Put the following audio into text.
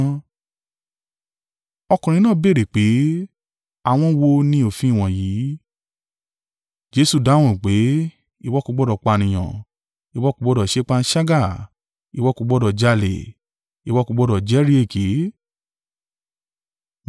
Ọkùnrin náà béèrè pé, “Àwọn wo ni òfin wọ̀nyí?” Jesu dáhùn pé, “ ‘Ìwọ kò gbọdọ̀ pànìyàn; ìwọ kò gbọdọ̀ ṣe panṣágà; ìwọ kò gbọdọ̀ jalè; ìwọ kò gbọdọ̀ jẹ́rìí èké’,